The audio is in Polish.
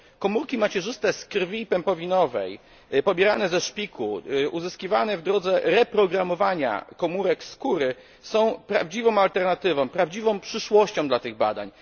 Komórki macierzyste z krwi pępowinowej, pobierane ze szpiku oraz te uzyskiwane w drodze reprogramowania komórek skóry są prawdziwą alternatywą i przyszłością tych badań.